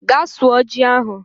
Gaa sụọ ji ahụ